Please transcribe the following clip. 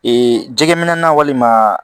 Ee jɛgɛ minɛ na walima